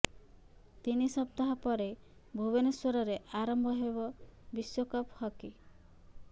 ତିନି ସପ୍ତାହ ପରେ ଭୁବନେଶ୍ୱରରେ ଆରମ୍ଭ ହେବ ବିଶ୍ୱକପ୍ ହକି